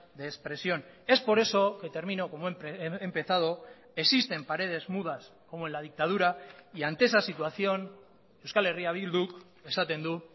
de expresión es por eso que termino como he empezado existen paredes mudas como en la dictadura y ante esa situación euskal herria bilduk esaten du